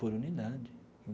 Por unidade.